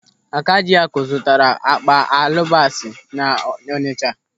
Akajiaku zụtara akpa alụbasa n'Ọnịcha.